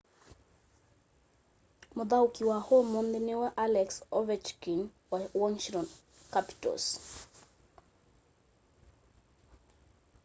mũthaũki wa ũmũnthĩ nĩwe alex ovechkin wa washington capitals